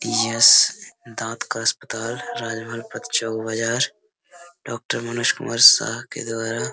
Yes दांत का अस्पताल राजमार्ग पथ चौक बाजार डॉक्टर मनोज कुमार शाह के द्वारा ।